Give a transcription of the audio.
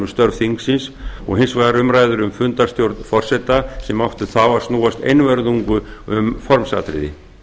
störf þingsins og hins vegar umræður um fundarstjórn forseta sem áttu þá að snúast einvörðungu um formsatriði